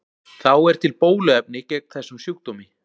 Þá er til bóluefni gegn þessum sjúkdómi.